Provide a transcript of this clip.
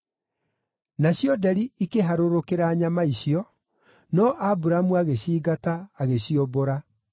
Nacio nderi ikĩharũrũkĩra nyama icio, no Aburamu agĩcingata, agĩciũmbũra.